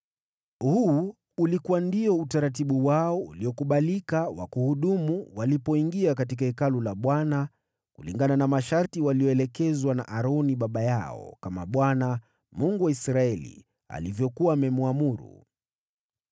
Huu ulikuwa ndio utaratibu wao uliokubalika wa kuhudumu walipoingia katika Hekalu la Bwana kulingana na masharti waliyoelekezwa na Aroni baba yao, kama Bwana , Mungu wa Israeli, alivyokuwa amemwamuru.